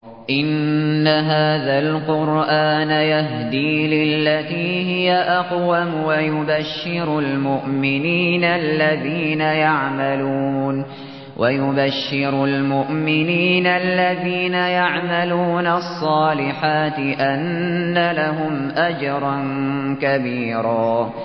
إِنَّ هَٰذَا الْقُرْآنَ يَهْدِي لِلَّتِي هِيَ أَقْوَمُ وَيُبَشِّرُ الْمُؤْمِنِينَ الَّذِينَ يَعْمَلُونَ الصَّالِحَاتِ أَنَّ لَهُمْ أَجْرًا كَبِيرًا